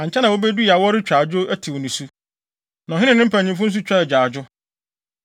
Ankyɛ na wobedui a, wɔretwa adwo, tew nisu, na ɔhene ne ne mpanyimfo nso twaa agyaadwo.